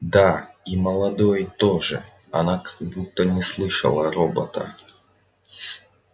да и молодой тоже она как будто не слышала робота